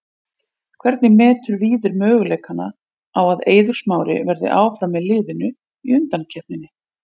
Hvernig metur Víðir möguleikana á að Eiður Smári verði áfram með liðinu í undankeppninni?